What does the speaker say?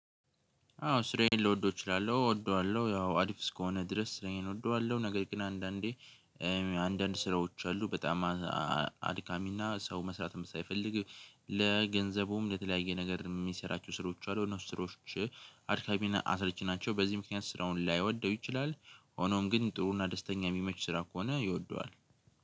አዎ ስራዬን ልወደው እችላለሁ። እወደዋለሁ። ያው አዲፍስ እከሆነ ድረስ ስራዬን እወደዋለሁ። ነገር ግን አንዳንዴ አንዳንድ ስራዎች አሉ በጣም አድካሚና ሰው መስራትም ሳይፈልግ ለገንዘቡም ለተለያየ ነገር የሚሰራቸው ስሮች አሉ። እነሱ ስራዎች አድካሚ እና አሰልች ናቸው። በዚህ ምክንያት ስራውን ላይወደው ይችላል ሆኖም ግን ጥሩና ደስተኛ የሚመች ስራ ከሆነ ይወደዋል።